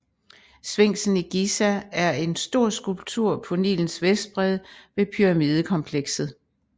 Sfinksen i Giza er en stor skulptur på Nilens vestbred ved pyramidekomplekset